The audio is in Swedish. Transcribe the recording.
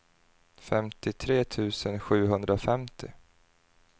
femtiotre tusen sjuhundrafemtio